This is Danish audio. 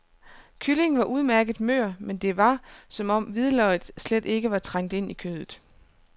Kyllingen var udmærket mør, men det var, som om hvidløget slet ikke var trængt ind i kødet.